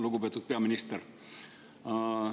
Lugupeetud peaminister!